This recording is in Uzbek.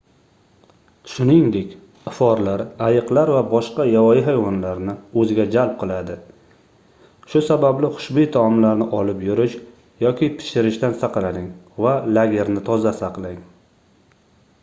shuningdek iforlar ayiqlar va boshqa yovvoyi hayvonlarni oʻziga jalb qiladi shu sababli xushboʻy taomlarni olib yurish yoki pishirishdan saqlaning va lagerni toza saqlang